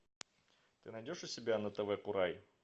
ты найдешь у себя на тв курай